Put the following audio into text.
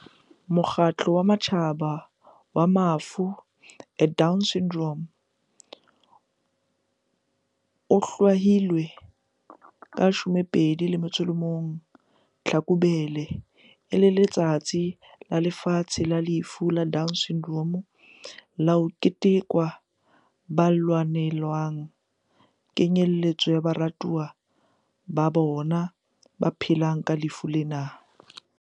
Mokgatlo wa Matjhaba wa Mafu a Down Syndrome o hlwahile 21 Tlhakubele e le Letsatsi la Lefatshe la Lefu la Down Syndrome la ho keteka ba lwanelang kenyelletso ya baratuwa ba bona ba phelang ka lefu lena.